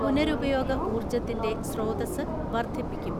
പുനരുപയോഗ ഊർജ്ജത്തിന്റെ സ്രോതസ്സ് വർദ്ധിപ്പിക്കും.